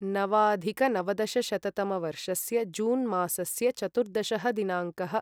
नवाधिकनवदशशततमवर्षस्य June मासस्य चतुर्दशः दिनाङ्कः